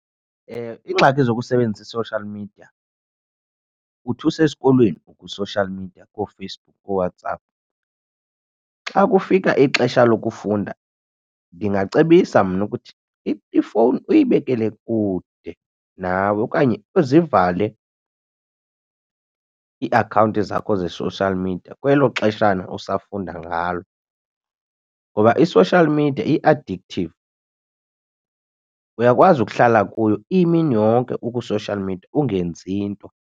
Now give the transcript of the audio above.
Iingxaki zokusebenzisa i-social media uthi usesikolweni ukwi-social media kooFacebook kooWhatsApp. Xa kufika ixesha lokufunda ndingacebisa mna ukuthi ifowuni uyibekele kude nawe okanye uzivale iiakhawunti zakho ze-social media kwelo xeshana usafunda ngalo. Ngoba i-social media i-addictive, uyakwazi ukuhlala kuyo imini yonke ukwi-social media ungenzi nto.